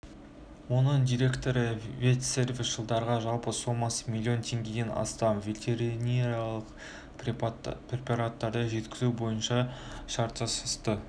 оның директоры ветсервис жылдарға жалпы сомасы млн тенгеден астам ветеринариялық препараттарды жеткізу бойынша шарт жасасты